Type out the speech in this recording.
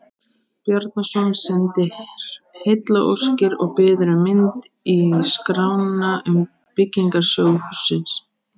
Bjarnason sendir heillaóskir og biður um mynd í skrána um byggingarsögu hússins.